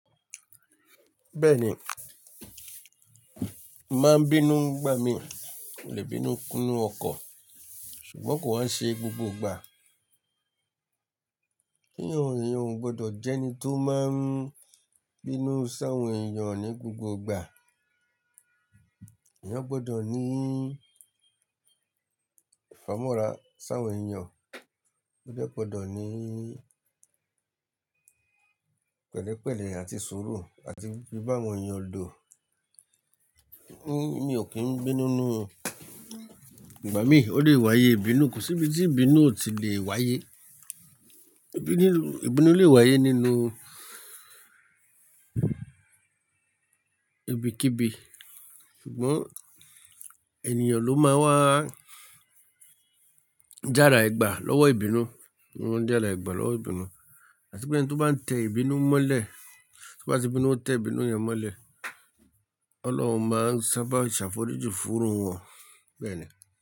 Bẹ́ẹ̀ni, mo màá ń bínú gbà mí, mo le bínú kúnnu ọkọ̀, ṣùgbọ́n kò wá ń ṣe gbogbo ìgbà. Ènìyàn ò gbọdọ̀ jẹ́ ẹni tó máa ń bínú sáwọn ènìyàn ní gbogbo ìgbà. Ẹ̀yán gbọdọ̀ ní ìfámọ́ra sáwọn ènìyàn, ó dẹ́ gbọdọ̀ ní pẹ̀lẹ́pẹ̀lẹ́ àti suru làti fí bá awọn ènìyàn lò, ní mi ò kí ń bínú ní igbà mí, ó lè wáyé ìbínú, kò sí ibi tí ìbínú ò tí lè wáyé. Ìbínú, ìbínú lè wáyé nínú ibikíbi, ṣùgbọ́n ènìyàn ló máa ń wá járae gbà lọ́wọ́ ìbínú, jarae gbà lọ́wọ́ ìbínú. Àti pé ẹni tó bá ń tẹ ìbínú mọ́lẹ̀, tó bá ti bínú o tẹ ìbínú yẹn mọ́lẹ̀, Ọlọ́run máa ń sábà ṣàfọrìji fún iru wọn bẹ́ẹ̀ni.